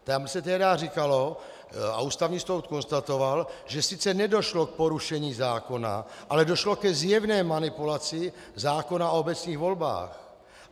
Tam se tehdy říkalo a Ústavní soud konstatoval, že sice nedošlo k porušení zákona, ale došlo ke zjevné manipulaci zákona o obecních volbách.